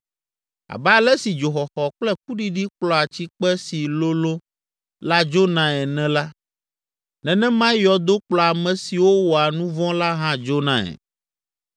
Abe ale si dzoxɔxɔ kple kuɖiɖi kplɔa tsikpe si lolõ la dzonae ene la, nenemae yɔdo kplɔa ame siwo wɔa nu vɔ̃ la hã dzonae.